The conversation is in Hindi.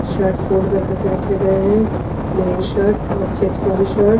शर्ट फोल्ड कर कर के रखे गए हैं प्लेन शर्ट और चेक्स वाली शर्ट।